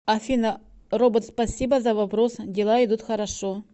афина робот спасибо за вопрос дела идут хорошо